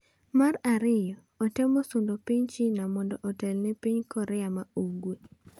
Mar ariyo, otemo sundo piny China mondo otelne piny Korea ma Ugwe.